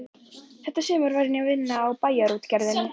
Þetta sumar var ég að vinna í Bæjarútgerðinni.